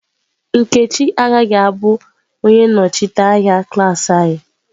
Nkechi agaghị abụ onye nnọchiteanya klas anyị.